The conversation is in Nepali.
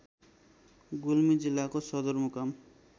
गुल्मी जिल्लाको सदरमुकाम